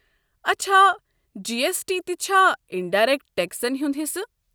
اچھا، G S T تہِ چھا انڈایرٮ۪کٹ ٹٮ۪کسن ہُنٛد حصہٕ؟